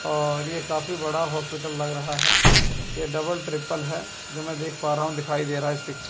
और ये काफी बड़ा हॉस्पिटल लग रहा है ये डबल ट्रिपल है जो मैं देख पा रहा हूं दिखाई दे रहा है इस पि--